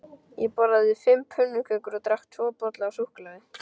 Ég borðaði fimm pönnukökur og drakk tvo bolla af súkkulaði.